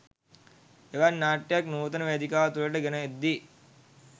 එවන් නාට්‍යයක් නූතන වේදිකාව තුළට ගෙන එද්දී